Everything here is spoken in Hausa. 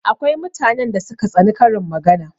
Akwai mutanen da suka tsani karin magana